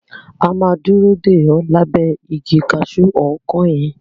A máa dúró dè o lábẹ́ igi kaṣu ọkán yẹn.